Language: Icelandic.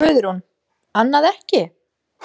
Guðrún: Annað ekki?